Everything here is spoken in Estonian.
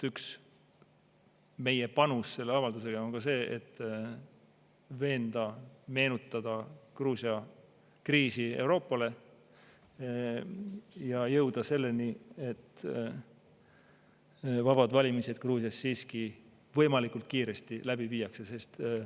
Üks meie panus selle avaldusega on ka see, et veenda, meenutada Gruusia kriisi Euroopale ja jõuda selleni, et vabad valimised Gruusias siiski võimalikult kiiresti läbi viiakse.